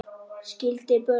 Skildi börn.